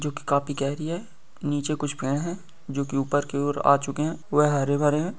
जो कि काफी गहरी है नीचे कुछ गए हैं जो कि ऊपर के ओर आ चुके हैं। वह हरे-भरे हैं।